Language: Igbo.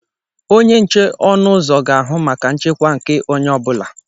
Onye nche ọnụ ụzọ ga-ahụ maka nchekwa nke onye ọ bụla.